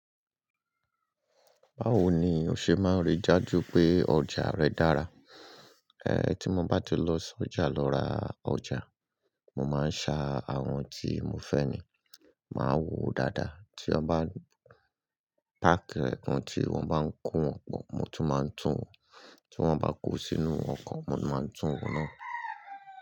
Báwo ni o ṣe máa rí i dájú pé ọjà rẹ dára? Ẹ̀, tí mo bá ti lọ sí ọjà lọ ra ọjà, mo máa ń sa àwọn tí mo fẹ́ni, máà wò ó dáadáa. Tí wọ́n bá pákì rẹ̀ tan tí wọ́n bá ń kó wọn, mo tún máa ń tún wò. Tí wọ́n bá kó sínú ọkọ̀, mo máa ń tún wò náà.